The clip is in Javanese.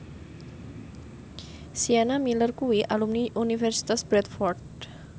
Sienna Miller kuwi alumni Universitas Bradford